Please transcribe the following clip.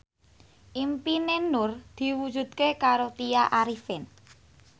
impine Nur diwujudke karo Tya Arifin